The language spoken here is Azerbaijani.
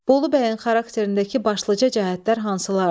Bolu bəyin xarakterindəki başlıca cəhətlər hansılardır?